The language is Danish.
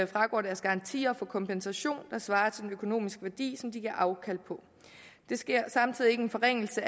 fragår deres garantier får kompensation der svarer til den økonomiske værdi som de giver afkald på der sker samtidig ikke en forringelse